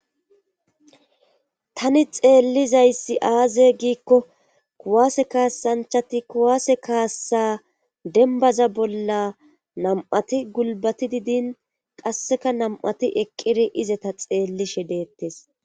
tani xeellizayssi aaze giikko kuwaase kaassanchati kuwaase kaassa dembaza bolla nam7ati gulbatidi din qasseka nam7ati izeta xeellishe deettes